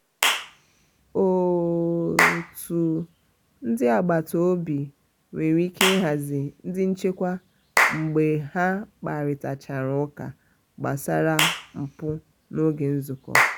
otu ndị agbata obi nwere ike ịhazi ndị nchekwa mgbe ha kparịtachara ụka gbasara mpụ n'oge nzụkọ.